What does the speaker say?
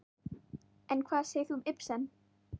En hvað segir þú um Ibsen?